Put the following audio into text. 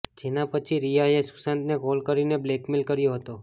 જેના પછી રિયાએ સુશાંતને કોલ કરીને બ્લેકમેઇલ કર્યો હતો